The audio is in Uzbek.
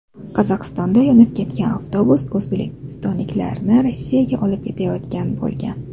Qozog‘istonda yonib ketgan avtobus o‘zbekistonliklarni Rossiyaga olib ketayotgan bo‘lgan.